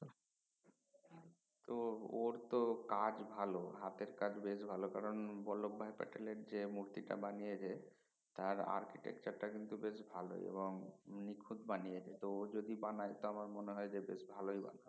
তো ওর তো কাজ ভালো হাতের কাজ বেশ ভালো কারণ বলোভ ভাই পাটেল এর যেঁ মূর্তি টা বানিয়েছে তার architecture টা বেশ ভালোই এবং নিখুত বানিয়েছে ও যদি বানায় তা আমার মনে হয় বেশ ভালোই বানাবে